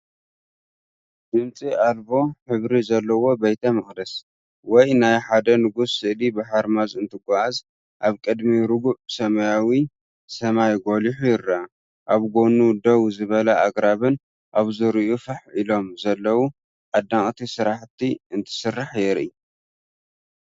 ድምጺ ኣልቦ ሕብሪ ዘለዎ ቤተ መቕደስ ወይ ናይ ሓደ ንጉስ ስእሊ ብሓርማዝ እንትጓዓዝ ኣብ ቅድሚ ርጉእ ሰማያዊ ሰማይ ጐሊሑ ይርአ። ኣብ ጎኑ ደው ዝበሉ ኣግራብን ኣብ ዙርያኡ ፋሕ ኢሎም ዘለዉ ኣደነቕቲ ስራሕቲ እንትስራሕ የርኢ።